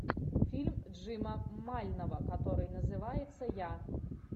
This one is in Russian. фильм джима мальнова который называется я